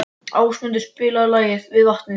Ásmundur, spilaðu lagið „Við vatnið“.